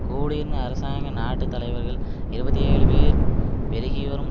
கூடியிருந்த அரசாங்க நாட்டு தலைவர்கள் இருபத்தி ஏழு பேர் பெருகிவரும்